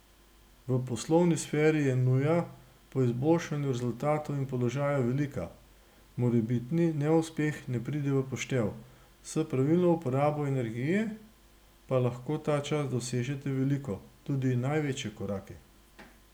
V poslovni sferi je nuja po izboljšanju rezultatov in položaja velika, morebitni neuspeh ne pride v poštev, s pravilno uporabo energije pa lahko ta čas dosežete veliko, tudi največje korake.